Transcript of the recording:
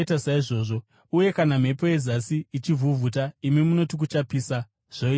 Uye kana mhepo yezasi ichivhuvhuta, imi munoti, ‘Kuchapisa,’ zvoita saizvozvo.